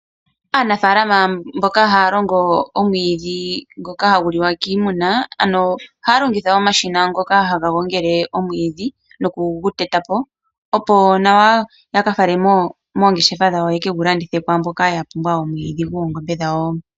Aanafalama mboka haya longo omwiidhi ngoka hagu liwa kiimuna, ohaya longitha omashina ngoka haga gongele omwiidhi noku gu teta po opo nawa ye ke gu fale moongeshefa dhawo ye ke gu landithe po kwaamboka ya pumbwa omwiidhi gwoongombe dhawo.